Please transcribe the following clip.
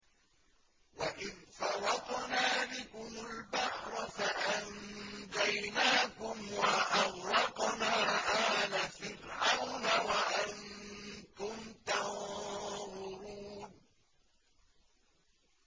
وَإِذْ فَرَقْنَا بِكُمُ الْبَحْرَ فَأَنجَيْنَاكُمْ وَأَغْرَقْنَا آلَ فِرْعَوْنَ وَأَنتُمْ تَنظُرُونَ